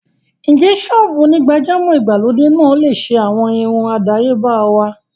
Ǹjẹ́ ṣọ́ọ́bù onígbàjámọ̀ ìgbàlódé náà lè ṣe àwọn irun àdáyébá wá?